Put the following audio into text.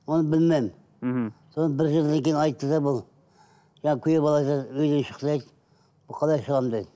оны білмедім мхм соны бір жылдан кейін айтты да бұл жаңа күйеу бала айтады үйден шық дейді бұл қалай шығамын дедім